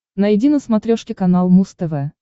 найди на смотрешке канал муз тв